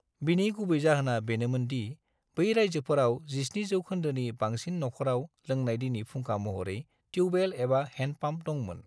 बिनि गुबै जाहोना बेनोमोन दि बै रायजोफोराव 70 जौखोन्दोनि बांसिन नखराव लोंनाय दैनि फुंखा महरै टिउबवेल एबा हैंडपांप दंमोन।